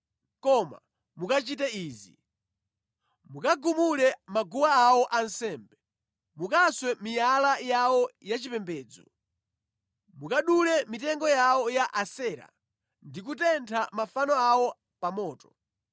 Koma mukachite izi: Mukagumule maguwa awo ansembe, mukaswe miyala yawo yachipembedzo, mukadule mitengo yawo ya Asera, ndi kutentha mafano awo pa moto.